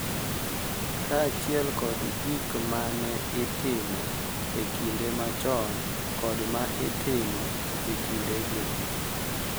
Kaachiel kod gik ma ne itimo e kinde machon kod ma itimo e kinde gi